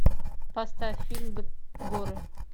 поставь фильм горы